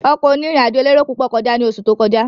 Ọkọ̀ oní ìrìn àjò elérò púpọ̀ kọjá ní oṣù tó kọjá